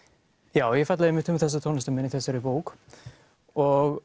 já ég fjalla einmitt um þessa tónlistarmenn í þessari bók og